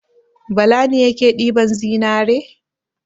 Bala ne yake ɗiban zinzre.